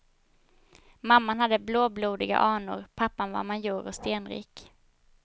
Mamman hade blåblodiga anor, pappan var major och stenrik.